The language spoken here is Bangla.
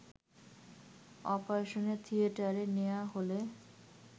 অপারেশন থিয়েটারে নেয়া হলে